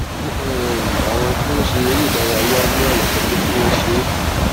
fún um àwọn tó ń ṣe eré ìdárayá ní àyà sọ pé kí wón ṣe é